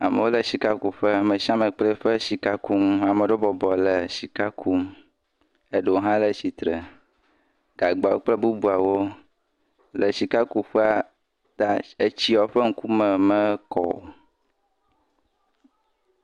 Amewo le sika kuƒe. me sia me kple ƒe sikakunu. Ame ɖewobɔbɔ le sika kum. Eɖowo hã le tsitre. Gagbɔ kple bubuawo le sikakuƒe ta etsiawo ƒe ŋkume mekɔ o.